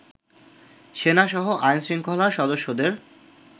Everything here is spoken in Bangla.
সেনাসহ আইন-শৃঙ্খলার সদস্যদের